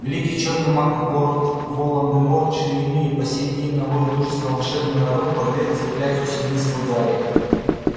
великий чёрный маг лорд волан-де-морт чьё имя и по сей день наводит ужас на волшебный народ подверг заклятию семейство гарри